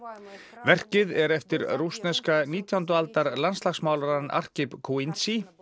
verkið er eftir rússneska nítjándu aldar landslagsmálarann Arkhip Kuindzhi